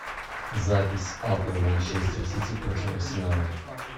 запись апл манчестер сити против арсенала